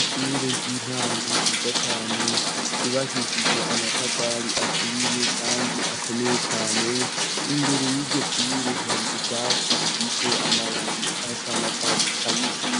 Ishure ry'intango giza cane yubahishijwe amatafari aturiye, kandi akomeye cane imbere y'iryo shure hari ubwatsi bufise amababi asanakatsi kabisi